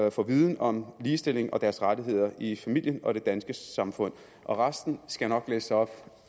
at få viden om ligestilling og deres rettigheder i familien og det danske samfund og resten skal jeg nok læse op